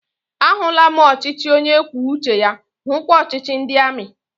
A hụla m ọchịchị onye kwuo uche ya, hukwa ọchịchị ndị amị